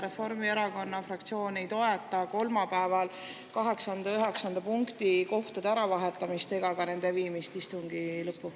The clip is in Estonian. Reformierakonna fraktsioon ei toeta kolmapäeval kaheksanda ja üheksanda punkti kohtade äravahetamist ega ka nende viimist istungi lõppu.